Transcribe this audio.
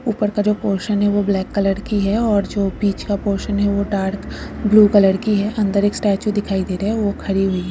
उपर का जो पोर्शन है वह ब्लॅक कलर की हैऔर जो बिच का पोर्शन है वह डार्क ब्लू कलर की अंदर एक स्टेचू दिखाई दे रहा है वह खड़ी हुई हे।